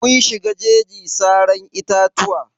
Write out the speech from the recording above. Mun shiga jeji saran itatuwa.